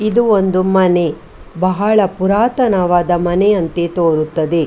ಇದು ಒಂದು ಮನೆ ಬಹಳ ಪುರಾತನವಾದ ಮನೆಯಂತೆ ತೋರುತ್ತದೆ .